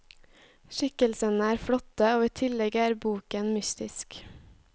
Skikkelsene er flotte, og i tillegg er boken mystisk.